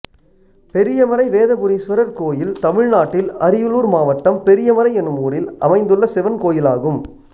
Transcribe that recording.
பெரியமறை வேதபுரீஸ்வரர் கோயில் தமிழ்நாட்டில் அரியலூர் மாவட்டம் பெரியமறை என்னும் ஊரில் அமைந்துள்ள சிவன் கோயிலாகும்